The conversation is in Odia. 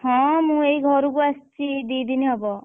ହଁ ମୁଁ ଏଇ ଘରୁକୁ ଆସିଛି ଏଇ ଦି ଦିନ ହବ।